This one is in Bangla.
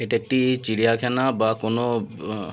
এটি চিড়িয়া খানা বা কোনো আব--